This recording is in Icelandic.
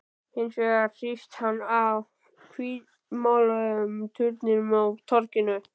Hins vegar hrífst hann af hvítmáluðum turninum á torginu.